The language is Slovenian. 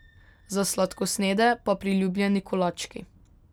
Za sladkosnedne pa priljubljeni kolački.